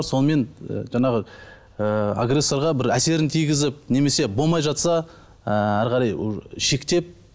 сонымен і жаңағы ыыы агрессорға бір әсерін тигізіп немесе болмай жатса ыыы әрі қарай шектеп